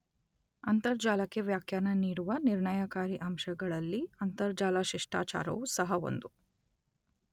ಅಂತರ್ಜಾಲಕ್ಕೆ ವ್ಯಾಖ್ಯಾನ ನೀಡುವ ನಿರ್ಣಯಕಾರಿ ಅಂಶಗಳಲ್ಲಿ ಅಂತರ್ಜಾಲ ಶಿಷ್ಟಾಚಾರವೂ ಸಹ ಒಂದು.